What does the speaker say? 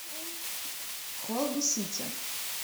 холби сити